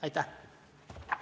Aitäh!